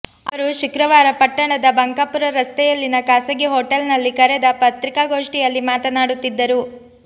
ಅವರು ಶುಕ್ರವಾರ ಪಟ್ಟಣದ ಬಂಕಾಪೂರ ರಸ್ತೆಯಲ್ಲಿನ ಖಾಸಗಿ ಹೊಟಲ್ ನಲ್ಲಿ ಕರೆದ ಪತ್ರಿಕಾ ಗೋಷ್ಠಿಯಲ್ಲಿ ಮಾತನಾಡುತ್ತಿದ್ದರು